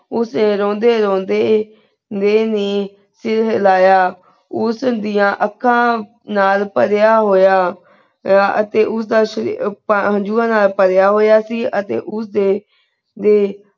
ਉਸ ਰੋਂਦੇ ਰੋਂਦੇ ਮੈਂ ਵੀ ਸਿਰ ਹਿਲਾਯਾ ਉਸ ਦਿਯਾ ਏਕ੍ਕਾ ਨਾਲ ਪਾਰਿਯਾੰ ਹੋਯਾ ਪ੍ਯ ਤੇ ਉਸ ਦਾ ਸ਼ਾ ਹੰਜੂਆ ਨਾਲ ਪਰਯ ਹੋਯਾ ਸੇ ਅਸੀਂ ਉਸ ਦੇ ਦੇ